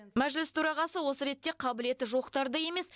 мәжіліс төрағасы осы ретте қабілеті жоқтарды емес